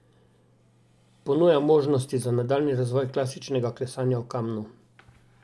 Ponuja možnosti za nadaljnji razvoj klasičnega klesanja v kamnu.